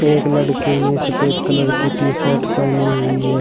एक लड़के ने सफेद कलर की टी शर्ट पहनी हुई है।